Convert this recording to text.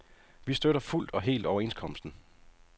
Vi støtter fuldt og helt overenskomsten.